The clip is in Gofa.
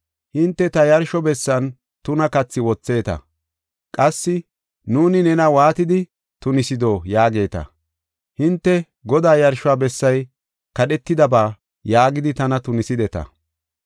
“Hinte ta yarsho bessan tuna kathi wotheta. Qassi, ‘Nuuni nena waatidi tunisido?’ yaageeta. Hinte, ‘Godaa yarsho bessay kadhetidaba’ yaagidi tana tunisideta.